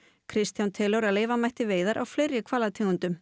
Kristján telur að leyfa mætti veiðar á fleiri hvalategundum